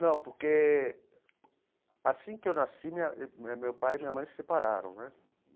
Não, porque assim que eu nasci, minha meu meu pai e minha mãe se separaram né.